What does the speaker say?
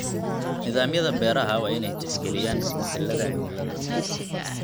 Nidaamyada beeraha waa inay tixgeliyaan isbedelada cimilada.